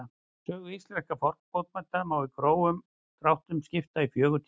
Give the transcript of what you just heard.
Sögu íslenskra fornbókmennta má í grófum dráttum skipta í fjögur tímabil.